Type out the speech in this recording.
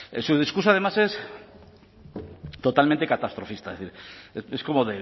en su discurso además es totalmente catastrofista es como